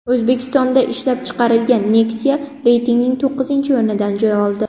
O‘zbekistonda ishlab chiqarilgan Nexia reytingning to‘qqizinchi o‘rnidan joy oldi.